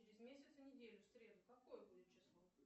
через месяц и неделю в среду какое будет число